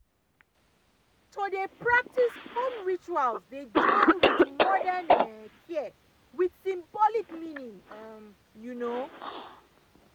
to dey practice home rituals dey join with modern care with symbolic meaning um you know